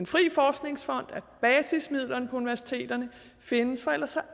frie forskningsfond at basismidlerne på universiteterne findes for ellers